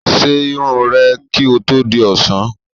Ṣe irun rẹ kí ó tó di ọ̀sán!